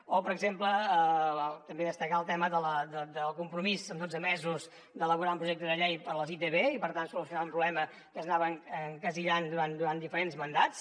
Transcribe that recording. o per exemple també destacar el tema del compromís en dotze mesos d’elaborar el projecte de llei per a les itv i per tant solucionar un problema que s’anava estancant durant diferents mandats